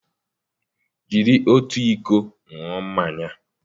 jiri otu iko ṅụọ mmanya!